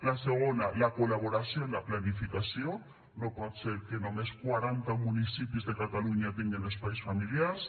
la segona la col·laboració en la planificació no pot ser que només quaranta municipis de catalunya tinguen espais familiars